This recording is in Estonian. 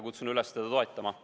Kutsun üles teda toetama.